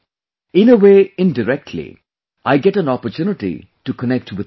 In a way, indirectly, I get an opportunity to connect with you all